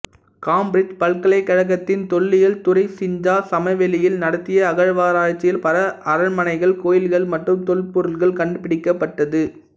Cambridge பல்கலைக்கழகத்தின் தொல்லியல் துறை சிஞ்சா சமவெளியில் நடத்திய அகழ்வாராய்ச்சியில் பல அரண்மனைகள் கோயில்கள் மற்றும் தொல் பொருட்கள் கண்டுபிடிக்கப்பட்டது